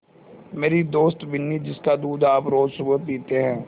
मेरी दोस्त बिन्नी जिसका दूध आप रोज़ सुबह पीते हैं